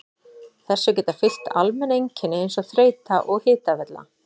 Þessu geta fylgt almenn einkenni eins og þreyta og hitavella.